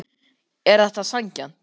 Er þetta sanngjarnt?